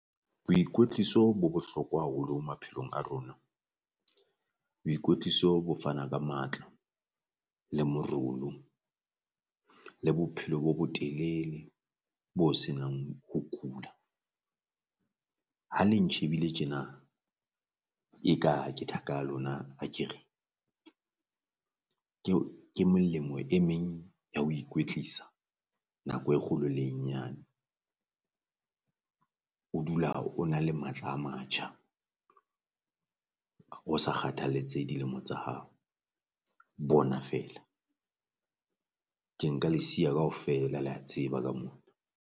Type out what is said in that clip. Boikwetliso bo bohlokwa haholo maphelong a rona, boikwetliso bo fana ka matla le le bophelo bo bo telele bo senang ho ho kula. Ha le ntjhebile tjena e ka ke thaka ya lona akere. Ke ho ke melemo e meng ya ho ikwetlisa nako e kgolo le e nyane, o dula o na le matla a matjha, o sa kgathalletse dilemo tsa hao, bona feela ke nka le siya kaofela le ya tseba ka mona.